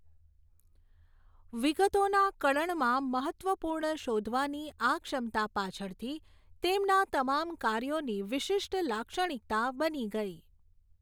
વિગતોના કળણમાં મહત્ત્વપૂર્ણ શોધવાની આ ક્ષમતા પાછળથી તેમના તમામ કાર્યોની વિશિષ્ટ લાક્ષણિકતા બની ગઈ.